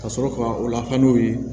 Ka sɔrɔ ka u lak'u ye